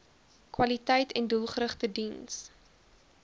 kwaliteiten doelgerigte diens